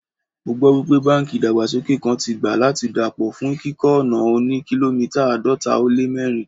Mo gbọ́ wípé báńkì ìdàgbàsókè kan tí gbà láti dà pọ̀ fún kíkọ́ ọ̀nà òní kìlómítà àádọ́ta ó lé mẹ́rin.